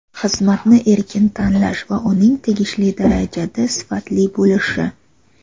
xizmat)ni erkin tanlash va uning tegishli darajada sifatli bo‘lishi;.